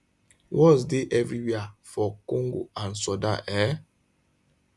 wars dey evriwia for congo and sudan um